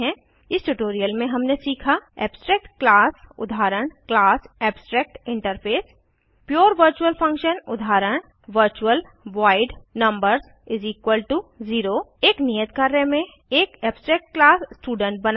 इस ट्यूटोरियल में हमने सीखा एब्स्ट्रैक्ट क्लास उदाहरण क्लास एब्स्ट्रैक्टिंटरफेस पुरे वर्चुअल फंक्शन उदाहरण वर्चुअल वॉइड numbers0 एक नियत कार्य में एक एब्सट्रैक्ट क्लास स्टूडेंट बनायें